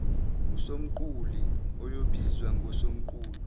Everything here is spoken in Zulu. usomqulu oyobizwa ngosomqulu